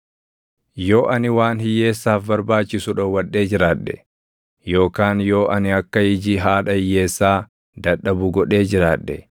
“Yoo ani waan hiyyeessaaf barbaachisu dhowwadhee jiraadhe, yookaan yoo ani akka iji haadha hiyyeessaa dadhabu godhee jiraadhe,